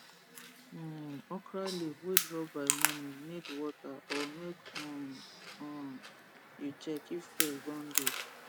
um okra leaf wey drop by morning need water or make um um u check if pest don dey